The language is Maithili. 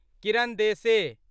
किरण देसे